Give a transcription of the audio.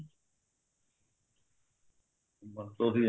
ਬਸ ਉਹੀ